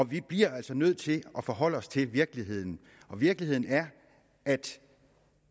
vi bliver altså nødt til at forholde os til virkeligheden og virkeligheden er at